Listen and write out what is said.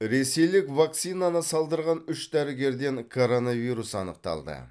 ресейлік вакцинаны салдырған үш дәрігерден коронавирус анықталды